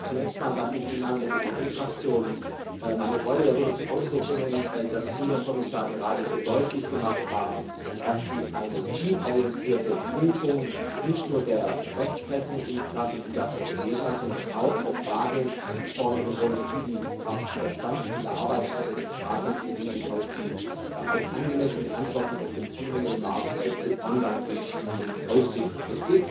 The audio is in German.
Zunächst einmal darf ich im Namen der EVP Fraktion meine Freude darüber zum Ausdruck bringen, dass Sie, Herr Kommissar, gerade so deutlich gemacht haben, dass Sie eine zielorientierte Prüfung nicht nur der Rechtsprechung in Sachen Liga Portuguesa, sondern auch der Frage vornehmen wollen, wie der Stand in der Arbeitsgruppe des Rates im Hinblick auf angemessene Antworten auf den wachsenden Markt bei Online Glücksspielen aussehen kann.